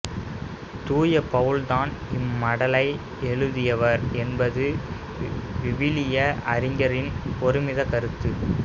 தூய பவுல்தாம் இம்மடலை எழுதியவர் என்பது விவிலிய அறிஞர்களின் ஒருமித்த கருத்து